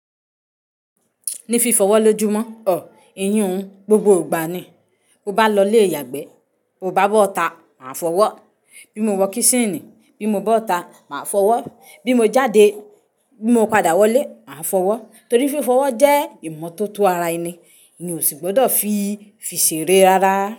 Ní fi fọwọ́ lójú mọ́ o, ìyùn gbogbo ìgbà ni. Mọ bá lọ ilé ìyàgbẹ́, mo bá bọ́ta, màá fọwọ́. Bí mo wọ́ kíṣínì, bí mo bọ́ta, màá fọwọ́. Bí mo jáde, bí mo padà wọlé, màá fọwọ́. Torí fi fọwọ́ jẹ́ ìmọ́tótó ara ẹni, mí ò sì gbọ́dọ̀ fi fi ṣere rárá.